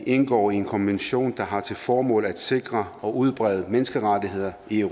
indgår i en konvention der har til formål at sikre og udbrede menneskerettigheder i